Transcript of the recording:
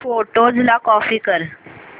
photos ला copy कर